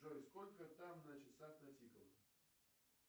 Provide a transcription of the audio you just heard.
джой сколько там на часах натикало